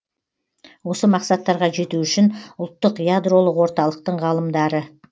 осы мақсаттарға жету үшін ұлттық ядролық орталықтың ғалымдары